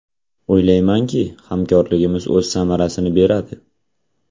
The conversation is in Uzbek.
O‘ylaymanki, hamkorligimiz o‘z samarasini beradi.